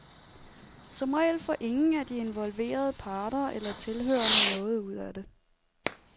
Som regel får ingen af de involverede parter eller tilhørerne noget ud af det.